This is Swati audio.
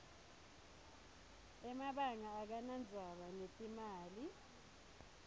emabanga akanadzaba netimali